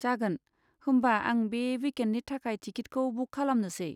जागोन, होमबा आं बे विकेन्डनि थाखाय टिकिटखौ बुक खालामनोसै।